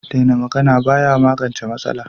Daina magana ba ya magance matsala.